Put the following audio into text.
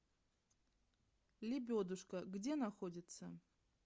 лебедушка где находится